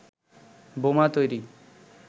বোমা তৈরি